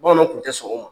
Bamananw tun tɛ sɔn o ma